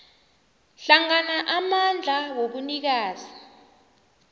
hlangana amandla wobunikazi